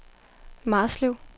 Marslev